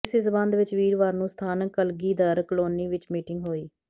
ਇਸੇ ਸਬੰਧ ਵਿੱਚ ਵੀਰਵਾਰ ਨੂੰ ਸਥਾਨਕ ਕਲਗੀਧਰ ਕਲੋਨੀ ਵਿੱਚ ਮੀਟਿੰਗ ਹੋਈ